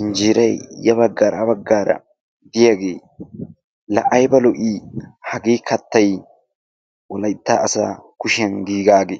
injeeray ya baggaara ha baggaara diyagee la ayiba lo"ii! Hagee kattay wolayitta asaa kushiyan giigaage.